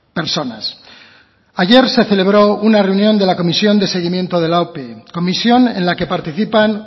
personas ayer se celebró una reunión de la comisión de seguimiento de la ope comisión en la que participan